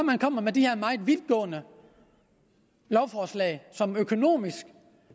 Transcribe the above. kommer med de her meget vidtgående lovforslag som økonomisk